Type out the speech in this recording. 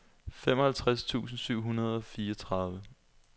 femoghalvtreds tusind syv hundrede og fireogtredive